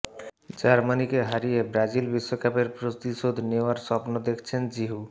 জার্মানিকে হারিয়ে ব্রাজিল বিশ্বকাপের প্রতিশোধ নেওয়ার স্বপ্ন েদখছেন জিহু